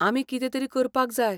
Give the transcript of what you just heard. आमी कितें तरी करपाक जाय.